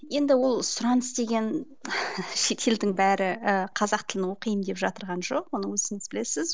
енді ол сұраныс деген шетелдің бәрі і қазақ тілін оқиын деп жатырған жоқ оны өзіңіз білесіз